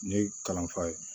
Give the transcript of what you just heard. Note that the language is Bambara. Ne ye kalan fa ye